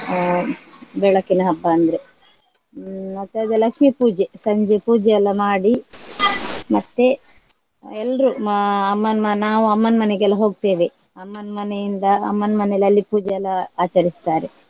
ಅಹ್ ಬೆಳಕಿನ ಹಬ್ಬ ಅಂದ್ರೆ. ಹ್ಮ್ ಮತ್ತೆ ಅದೇ ಲಕ್ಷ್ಮಿ ಪೂಜೆ ಸಂಜೆ ಪೂಜೆ ಎಲ್ಲ ಮಾಡಿ ಮತ್ತೆ ಎಲ್ರು ಮ~ ಅಮ್ಮನ್~ ನಾವು ಅಮ್ಮನ್ ಮನೆಗೆಲ್ಲ ಹೋಗ್ತೇವೆ ಅಮ್ಮನ್ ಮನೆಯಿಂದ ಅಮ್ಮನ್ ಮನೆಯಲ್ಲಿ ಅಲ್ಲಿ ಪೂಜೆ ಎಲ್ಲ ಆಚರಿಸ್ತಾರೆ.